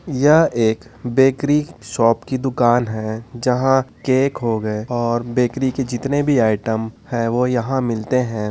यह एक bakery shop की दुकान है जहाँ केक हो गए और बेकरी के जितने भी आइटम है वो यहाँ मिलते है।